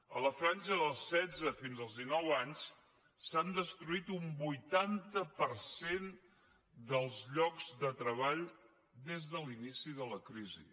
a la franja dels setze fins als dinou anys s’ha destruït un vuitanta per cent dels llocs de treball des de l’inici de la crisi